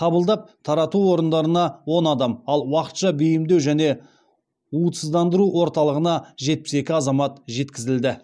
қабылдап тарату орындарына он адам ал уақытша бейімдеу және уытсыздандыру орталығына жетпіс екі азамат жеткізілді